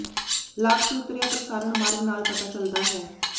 ਲਾਗ ਤੇ ਉਤਰਿਆ ਪ੍ਰਸਾਰਣ ਮਾਰਗ ਨਾਲ ਪਤਾ ਚੱਲਦਾ ਹੈ